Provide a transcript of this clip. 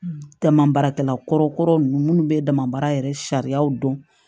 Tama baarakɛla kɔrɔ nunnu munnu bɛ damabaara yɛrɛ sariyaw dɔn